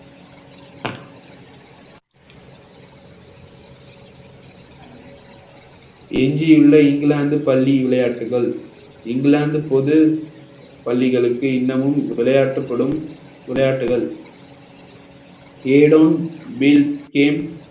எஞ்சியுள்ள இங்கிலாந்து பள்ளி விளையாட்டுக்கள் இங்கிலாந்து பொது பள்ளிகளுக்கு இன்னமும் விளையாட்டுப்படும் விளையாட்டுகள் a don bill game